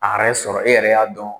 A yɛrɛ sɔrɔ . E yɛrɛ y'a dɔn